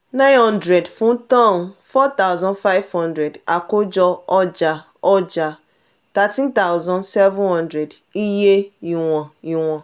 nine hundred fun tonne four thousand five hundred àkójọ ọjà ọjà thirteen thousand seven hundred iye ìwọ̀n ìwọ̀n